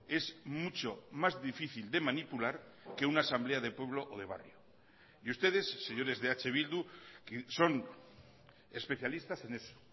es mucho más difícil de manipular que una asamblea de pueblo o de barrio y ustedes señores de eh bildu que son especialistas en eso